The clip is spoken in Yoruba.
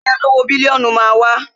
Ẹgbẹ́ olówó bílíónù máa wá